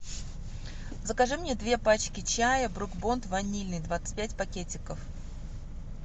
закажи мне две пачки чай брук бон ванильный двадцать пять пакетиков